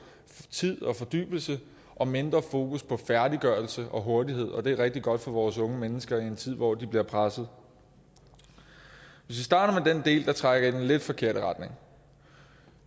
tid og fordybelse og mindre fokus på færdiggørelse og hurtighed det er rigtig godt for vores unge mennesker i en tid hvor de bliver presset hvis vi starter med den del der trækker i den lidt forkerte retning